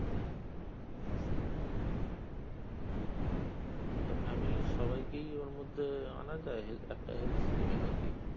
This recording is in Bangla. উম তো family এর সবাইকে ওর মধ্যে আনা যায় একটা health scheme এ নাকি